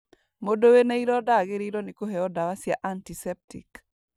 Mũndũ wĩna ironda agĩrĩirwo nĩ kũheo ndawa cia antiseptic